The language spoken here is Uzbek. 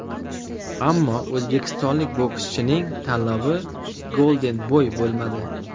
Ammo o‘zbekistonlik bokschining tanlovi Golden Boy bo‘lmadi.